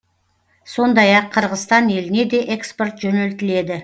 сондай ақ қырғызстан еліне де экспорт жөнелтіледі